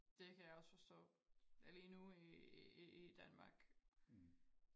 det kan jeg også forstå lige nu i Danmark